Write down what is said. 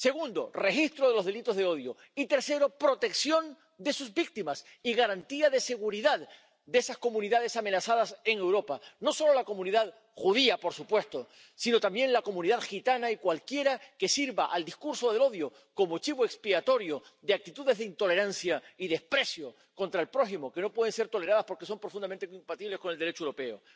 Segundo, registro de los delitos de odio y, tercero, protección de sus víctimas y garantía de seguridad de esas comunidades amenazadas en Europa, no solo la comunidad judía —por supuesto—, sino también la comunidad gitana y cualquiera que sirva al discurso del odio como chivo expiatorio de actitudes de intolerancia y desprecio contra el prójimo que no pueden ser toleradas porque son profundamente incompatibles con el Derecho europeo.